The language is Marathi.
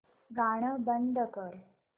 गाणं बंद कर